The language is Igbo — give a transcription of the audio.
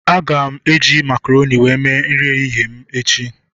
Aga m eji makaronị were mee nri ehihie m echi